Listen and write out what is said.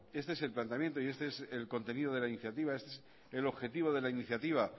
este es el planteamiento y este es el contenido de la iniciativa este es el objetivo de la iniciativa